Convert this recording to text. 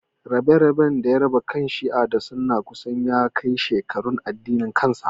Rabe-raben da ya raba kan Shi'a da Sunna kusan ya kai shekarun addinin kansa.